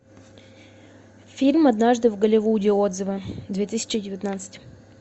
фильм однажды в голливуде отзывы две тысячи девятнадцать